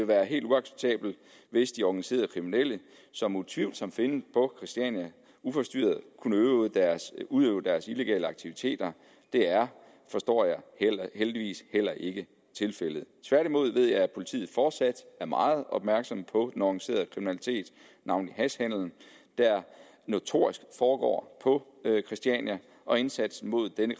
være helt uacceptabelt hvis de organiserede kriminelle som utvivlsomt findes på christiania uforstyrret kunne udøve deres udøve deres illegale aktiviteter det er forstår jeg heldigvis heller ikke tilfældet tværtimod ved jeg at politiet fortsat er meget opmærksomme på den organiserede kriminalitet navnlig hashhandelen der notorisk foregår på christiania og indsatsen mod denne